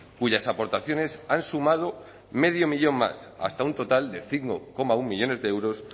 cuyas aportaciones han sumado medio millón más hasta un total de cinco coma uno millónes de euros